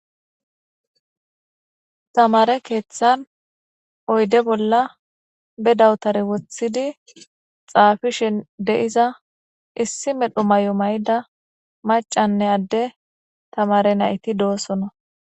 Tamare keeththan oyde bolla be dawutare wothidi xaafishen deiza issi medho may'o mayda macanne adde tamare nayti doosono.